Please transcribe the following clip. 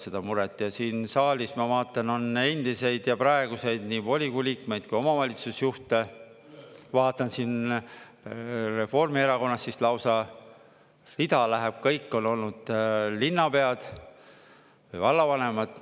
Ja siin saalis, ma vaatan, on endiseid ja praeguseid nii volikogu liikmeid kui omavalitsusjuhte, vaatan siin Reformierakonnast lausa rida läheb: kõik on olnud linnapead, vallavanemad.